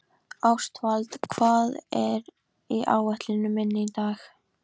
Ástvald, hvað er á áætluninni minni í dag?